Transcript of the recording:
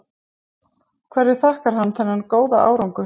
Hverju þakkar hann þennan góða árangur?